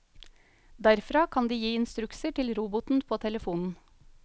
Derfra kan de gi instrukser til roboten på telefonen.